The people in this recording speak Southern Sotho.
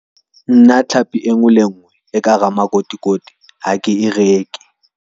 Nna tlhapi e ngwe le e ngwe e ka hara makotikoti ha ke e reke.